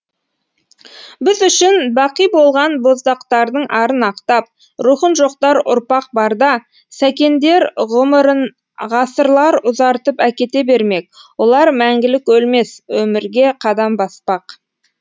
біз үшін бақиболған боздақтардың арын ақтап рухын жоқтар ұрпақ барда сәкендер ғұмырынғасырлар ұзартып әкете бермек олар мәңгілік өлмес өмірге қадам баспақ